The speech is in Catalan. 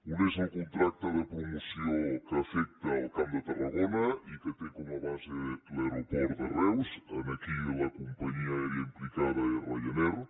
un és el contracte de promoció que afecta el camp de tarragona i que té com a base l’aeroport de reus aquí la companyia aèria implicada és ryanair